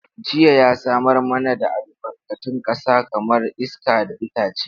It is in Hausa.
Daji ya samar mana da albarkatun ƙasa kamar iska da itace.